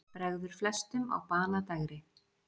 Bregður flestum á banadægri.